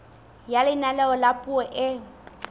ya leano la puo e